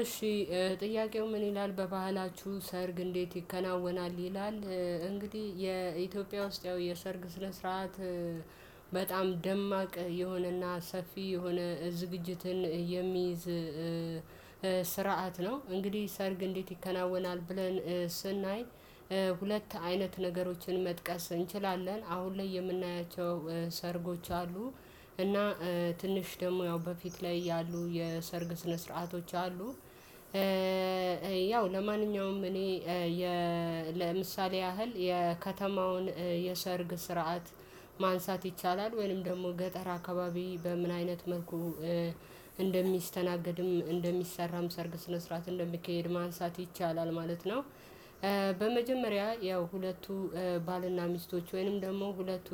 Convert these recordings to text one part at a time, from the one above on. እሺ። ጥያቄው ምን ይላል በባህላችሁ ሰርግ እንዴት ይከናወናል? ይላል እንግዲህ የኢትዮጵያ ውስጥ ያው የሰርግ ስነ ስርዓት። በጣም ደማቅ የሆነና ሰፊ የሆነ ዝግጅትን የሚይዝ ስርዓት ነው። እንግዲህ ሰርግ እንዴት ይከናወናል ብለን? ሁለት አይነት ነገሮችን መጥቀስ እንችላለን አሁን ላይ የምናያቸው ሰርጎች አሉ። እና ትንሽ ደግሞ ያው በፊት ላይ ያሉ የሰርግ ስነ ስርዓቶች አሉ። ያው ለማንኛውም እኔ ለምሳሌ ያህል የከተማውን የሰርግ ስርዓት ማንሳት ይቻላል። ወይም ደግሞ ገጠር አካባቢ በምን አይነት መልኩ? እንደሚስተናገድም እንደሚሰራም ሰርግ ስነ ስርዓትን ለመካሄድ ማንሳት ይቻላል ማለት ነው። ያው ሁለቱ ባልና ሚስቶች ወይንም ደግሞ ሁለቱ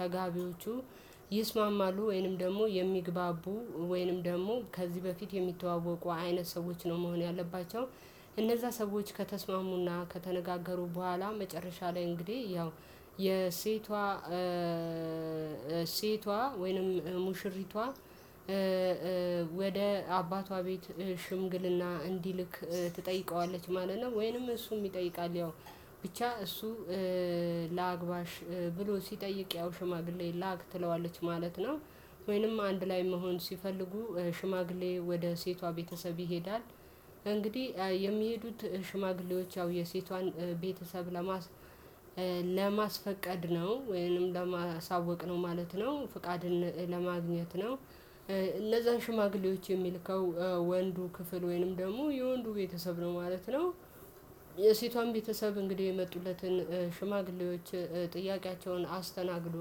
ተጋቢዎቹ ወይንም ደግሞ የሚግባቡ ወይንም ደግሞ ከዚህ በፊት የሚተዋወቁ አይነት ሰዎች ነው መሆን ያለባቸው። እነዛ ሰዎች ከተስማሙና ከተነጋገሩ በኋላ መጨረሻ ላይ እንግዲህ ያው የሴቷ ሴቷ ወይንም ሙሽሪቷ ወደ አባቷ ቤት ሽምግልና እንዲልክ ትጠይቀዋለች ማለት ነው። ወይንም እሱም ይጠይቃል ያው ብቻ እሱ ለአግባሽ ብሎ ሲጠይቅ ያው ሽማግሌ ላክ ትለዋለች ማለት ነው። ወይንም አንድ ላይ መሆን ሲፈልጉ ሽማግሌ ወደ ሴቷ ቤተሰብ ይሄዳል። የሚሄዱት ሽማግሌዎች ያው የሴቷን ቤተሰብ ለማስፈቀድ ነው ወይንም ለማሳወቅ ነው ማለት ነው ፍቃድን ለማግኘት ነው። እነዛ ሽማግሌዎች የሚልከው ወንዱ ክፍል ወይንም ደግሞ የወንዱ ቤተሰብ ነው ማለት ነው። ሴቷም ቤተሰብ እንግዲህ የመጡለትን ሽማግሌዎች ጥያቄያቸውን አስተናግዶ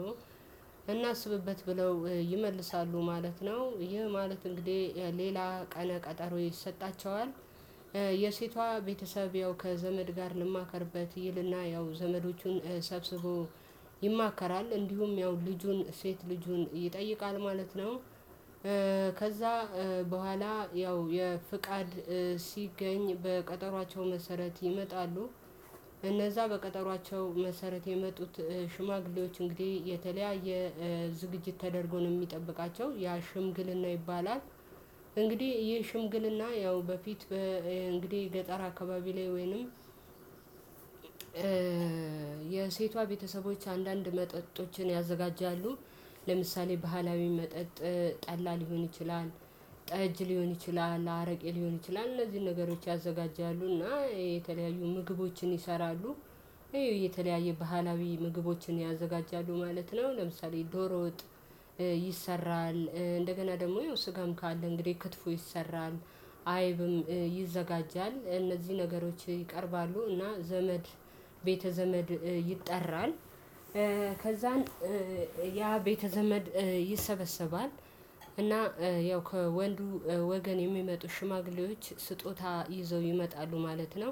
እናስብበት ብለው ይመልሳሉ ማለት ነው። ይህ ማለት እንግዲህ ሌላ ቀነ ቀጠሮ ይሰጣቸዋል። ቤተሰብ ያው ከዘመድ ጋር እንማከርበት ይልና ያው ዘመዶቹን ሰብስቦ ይማከራል እንዲሁም ያው ልጁን ሴት ልጁን ይጠይቃል ማለት ነው። ከዛ በኋላ ያው የፍቃድ ሲገኝ በቀጠሮአቸው መሰረት ይመጣሉ። በቀጠሯቸው መሰረት የመጡት ሽማግሌዎች እንግዲህ የተለያየ ዝግጅት ተደርጎ ነው የሚጠብቃቸው ያ ሽምግልና ይባላል። እንግዲህ ይህ ሽምግልና ያው በፊት ገጠር አካባቢ ላይ ወይንም የሴቷ ቤተሰቦች አንዳንድ መጠጦችን ያዘጋጃሉ። ለምሳሌ ባህላዊ መጠጥ ጠላ ሊሆን ይችላል ጠጅ ሊሆን ይችላል አረቄ ሊሆን ይችላል እነዚህን ነገሮች ያዘጋጃሉ እና የተለያዩ ምግቦችን ይሰራሉ። ይሄ የተለያየ ባህላዊ ምግቦችን ያዘጋጃሉ ማለት ነው። ለምሳሌ ዶሮ ወጥ ይሰራል እንደገና ደግሞ ስጋም ካለ እንግዲህ ክትፎ ይሰራል። አይብም ይዘጋጃል እነዚህ ነገሮች ይቀርባሉ እና ዘመድ ቤተ ዘመድ ይጠራል። ከዛን ያ ቤተ ዘመድ ይሰበሰባል እና ያው ከወንዱ ወገን የሚመጡ ሽማግሌዎች ስጦታ ይዘው ይመጣሉ ማለት ነው።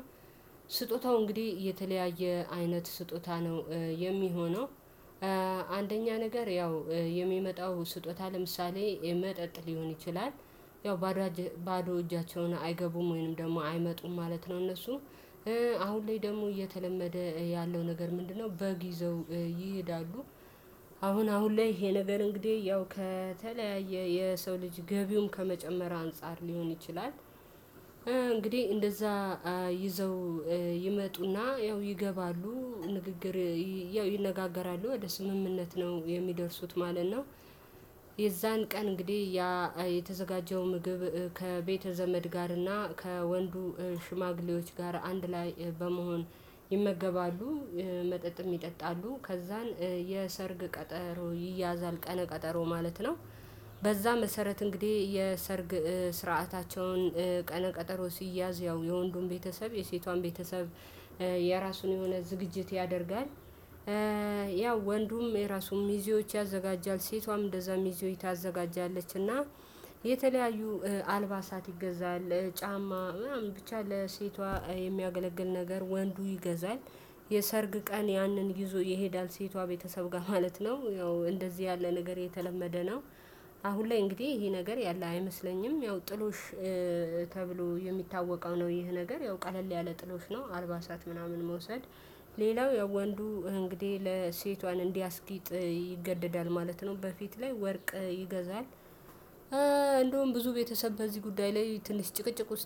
ስጦታው እንግዲህ የተለያየ አይነት ስጦታ ነው የሚሆነው። አንደኛ ነገር ያው የሚመጣው ስጦታ ለምሳሌ መጠጥ ሊሆን ይችላል። ያው ባዶ እጃቸውን አይገቡም ወይንም ደግሞ አይመጡም ማለት ነው። እነሱ አሁን ላይ ደግሞ እየተለመደ ያለው ነገር ምንድነው? በግ ይዘው ይሄዳሉ። አሁን አሁን ላይ ይሄ ነገር እንግዲህ ያው ከተለያየ የሰው ልጅ ገቢውን ከመጨመር አንፃር ሊሆን ይችላል። እንግዲህ እንደዛ ይዘው ይመጡና ያው ይገባሉ ንግግር ያው ይነጋገራሉ ወደ ስምምነት ነው የሚደርሱት ማለት ነው። የዛን ቀን እንግዲህ የተዘጋጀው ምግብ ከቤተ ዘመድ ጋር እና ከወንዱ ሽማግሌዎች ጋር አንድ ላይ በመሆን ይመገባሉ። መጠጥም ይጠጣሉ ከዛን የሰርግ ቀጠሮ ይያዛል ቀነ ቀጠሮ ማለት ነው። በዛ መሰረት እንግዲህ የሰርግ ስርዓታቸውን ቀነ ቀጠሮ ሲያዝ ያው የወንዱን ቤተሰብ የሴቷን ቤተሰብ የራሱን የሆነ ዝግጅት ያደርጋል። ያው ወንዱም የራሱም ሚዜዎች ያዘጋጃል ሴቷም እንደዛ ሚዜዎች ታዘጋጃለች እና የተለያዩ አልባሳት ይገዛል ጫማ ወይም ብቻ ለሴቷ የሚያገለግል ነገር ወንዱ ይገዛል። የሰርግ ቀን ያንን ይዞ ይሄዳል ሴቷ ቤተሰብ ጋር ማለት ነው ያው እንደዚህ ያለ ነገር የተለመደ ነው። አሁን ላይ እንግዲህ ይሄ ነገር ያለ አይመስለኝም ያው ጥሎሽ ተብሎ የሚታወቀው ነው። ይሄ ነገር ያው ቀለል ያለ ጥሎሽ ነው። አርባ ሰዓት ምናምን መውሰድ። ሌላው የወንዱ እንግዲህ ለሴቷን እንዲያስጊጥ ይገደዳል ማለት ነው በፊት ላይ ወርቅ ይገዛል እንደውም ብዙ ቤተሰብ በዚህ ጉዳይ ላይ ትንሽ ጭቅጭቅ ውስጥ